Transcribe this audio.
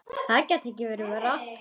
Það gæti ekki verið verra.